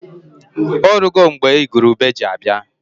Orugo mgbe igwurube ji abịa.